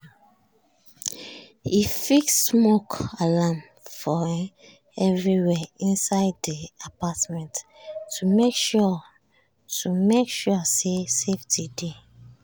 e fix smoke alarm for um everywhere inside the apartment to make sure to make sure say safety dey.